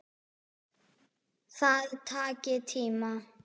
Það taki tíma.